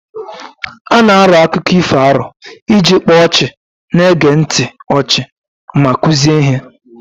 A na-arọ akụkọ ifo arọ iji kpaa ọchị na-ege ntị ọchị ma kụzie ihe.